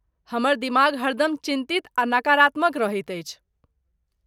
हमर दिमाग हरदम चिन्तित आ नकारात्मक रहैत अछि।